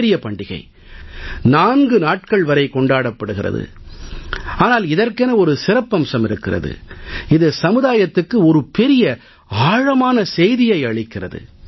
ஒரு வகையில் இது மிகப் பெரிய பண்டிகையாகத் திகழ்கிறது 4 நாட்கள் வரை கொண்டாடப்படுகிறது ஆனால் இதற்கென ஒரு சிறப்பம்சம் இருக்கிறது இது சமுதாயத்துக்கு ஒரு பெரிய ஆழமான செய்தியை அளிக்கிறது